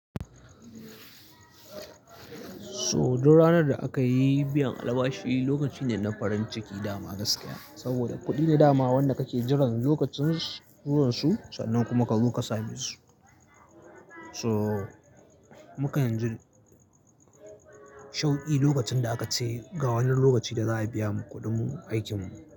So duk ranar da aka yi biyan albashi lokaci ne na farin ciki dama gaskiya saboda kuɗi ne dama wanda kake jiran lokacin zuwan su sannan kuma ka zo ka sami su. So mukanji shauƙi lokacin da aka ce ga wani lokaci da za a biya mu kuɗin mu aikin mu.